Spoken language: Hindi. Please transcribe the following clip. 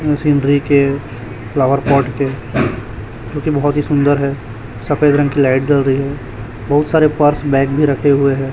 अह सिनरी के फ्लावर पॉट के जो कि बहुत ही सुंदर है सफेद रंग की लाइट जल रही है बहुत सारे पर्स बैग भी रखे हुए है।